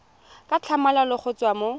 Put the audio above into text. ka tlhamalalo go tswa mo